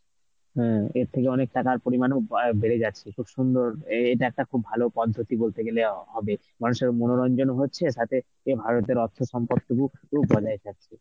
হম এর থেকে অনেক টাকার পরিমাণও বা~ বেড়ে গেছে. খুব সুন্দর এ~ এটা একটা খুব ভালো পদ্ধতি বলতে গেলে অ হবে. মানুষের মনোরঞ্জনও হচ্ছে সাথে এ ভারতের অর্থ সম্পত্তি